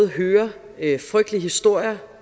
hører frygtelige historier